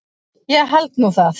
Ég held nú það!